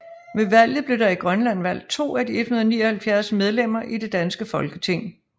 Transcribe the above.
Ved valget blev der i Grønland valgt 2 af de 179 medlemmer i det danske Folketing